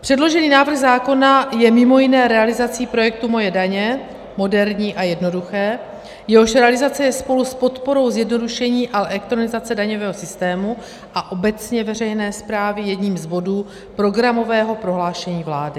Předložený návrh zákona je mimo jiné realizací projektu Moje daně - moderní a jednoduché -, jehož realizace je spolu s podporou zjednodušení a elektronizace daňového systému a obecně veřejné správy jedním z bodů programového prohlášení vlády.